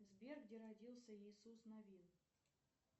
сбер где родился иисус навин